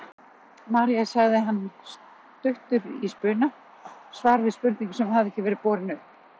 María sagði hann stuttur í spuna, svar við spurningu sem hafði ekki verið borin upp.